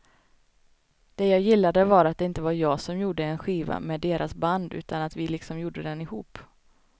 Det jag gillade var att det inte var jag som gjorde en skiva med deras band utan att vi liksom gjorde den ihop.